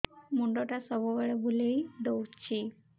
ମୁଣ୍ଡଟା ସବୁବେଳେ ବୁଲେଇ ଦଉଛି